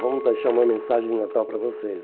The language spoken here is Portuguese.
Vamos deixar uma mensagem de Natal para vocês.